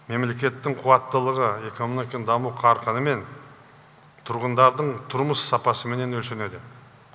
мемлекеттің қуаттылығы экономиканның даму қарқынымен тұрғындардың тұрмыс сапасыменен өлшенеді